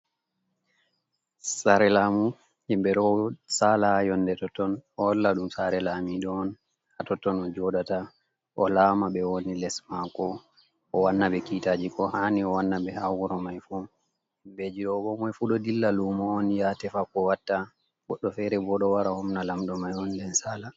Sare lamu himɓɓe ɗo sala ha yonde totton ɗo holla ɗum sare lamiɗo on, ha totton o joɗata o lama ɓe woni les mako o wanna ɓe kitaji ko hani o wana be ha wuro mai fu, himɓeji ɗo bo komai fu ɗo dilla lumo on ya tefa ko watta, goɗɗo fere bo ɗo wara homna lamɗo mai on den sala.